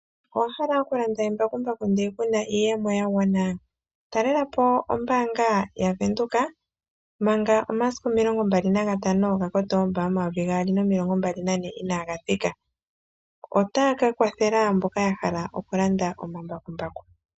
Owahala okulanda embakumbaku nde kuna iiyemo ya gwana talelapo ombanga yaVenduka manga omasiku omilongo mbali nagatano ga kotoomba omayovi gaali nomilongo mbali nane inaga thika otaya ka kwathela mboka yahala okulanda omambakumbaku.